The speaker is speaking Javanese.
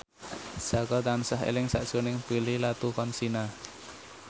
Jaka tansah eling sakjroning Prilly Latuconsina